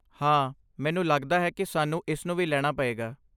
ਹਾਂ, ਮੈਨੂੰ ਲਗਦਾ ਹੈ ਕਿ ਸਾਨੂੰ ਇਸ ਨੂੰ ਵੀ ਲੈਣਾ ਪਏਗਾ।